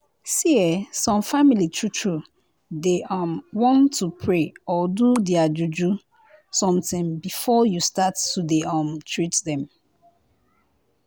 see eh some family true true dey um want to pray or do their juju somtin before you start to dey um treat dem.